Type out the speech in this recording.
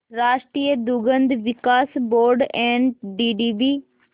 राष्ट्रीय दुग्ध विकास बोर्ड एनडीडीबी